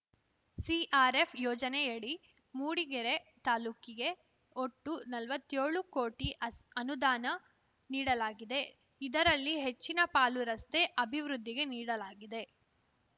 CRF ಯೋಜನೆಯಡಿ ಮೂಡಿಗೆರೆ ತಾಲೂಕಿಗೆ ಒಟ್ಟು ನಲ್ವತ್ಯೋಳು ಕೋಟಿ ಅನುದಾನ ನೀಡಲಾಗಿದೆ ಇದರಲ್ಲಿ ಹೆಚ್ಚಿನ ಪಾಲು ರಸ್ತೆ ಅಭಿವೃದ್ಧಿಗೆ ನೀಡಲಾಗಿದೆ